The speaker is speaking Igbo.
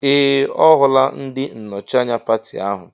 Ee! Ọ hụla ndị nnọchi anya pati ahụ.